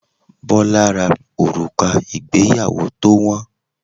Bola ra òrùka ìgbéyàwó tó wọn